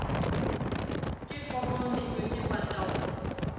ke foko mmetso ke pataolo